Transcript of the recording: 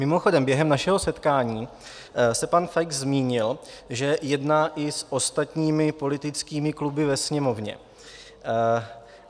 Mimochodem, během našeho setkání se pan Feix zmínil, že jedná i s ostatními politickými kluby ve Sněmovně.